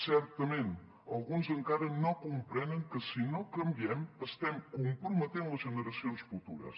certament alguns encara no comprenen que si no canviem estem comprometent les generacions futures